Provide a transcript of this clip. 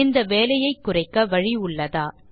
இந்த வேலையை குறைக்க வழி உள்ளதா